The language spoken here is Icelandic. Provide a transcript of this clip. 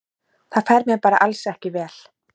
Það fer mér bara alls ekki vel.